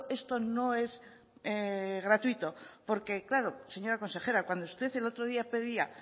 esto no es gratuito porque claro señora consejera cuando usted el otro día pedía